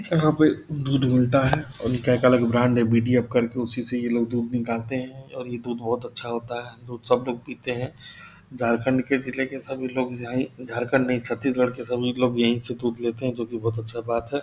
यहाँ पे दूध मिलता है उनका एक अलग ब्रांड है बी.डी.एफ़. करके उसी से ये लोग दूध निकालते हैं ये दूध बहुत अच्छा होता है दूध सब लोग पीते हैं झारखंड के जिले के सभी लोग जायें झारखंड नहीं छत्तीसगढ़ के सभी लोग यहीं से दूध लेते हैं जो की बहुत अच्छा बात है ।